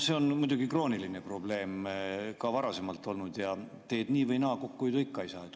See on muidugi krooniline probleem ka varasemalt olnud ja teed nii või naa, kokkuhoidu ikka ei saa.